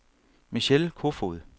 Michelle Kofod